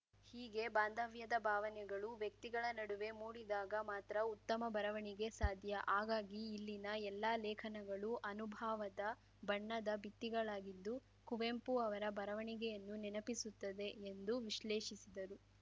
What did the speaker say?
ಹೀಗೆ ಬಾಂಧವ್ಯದ ಭಾವನೆಗಳು ವ್ಯಕ್ತಿಗಳ ನಡುವೆ ಮೂಡಿದಾಗ ಮಾತ್ರ ಉತ್ತಮ ಬರವಣಿಗೆ ಸಾಧ್ಯ ಹಾಗಾಗಿ ಇಲ್ಲಿನ ಎಲ್ಲಾ ಲೇಖನಗಳು ಅನುಭಾವದ ಬಣ್ಣದ ಬಿತ್ತಿಗಳಾಗಿದ್ದು ಕುವೆಂಪು ಅವರ ಬರವಣಿಗೆಯನ್ನು ನೆನಪಿಸುತ್ತದೆ ಎಂದು ವಿಶ್ಲೇಷಿಸಿದರು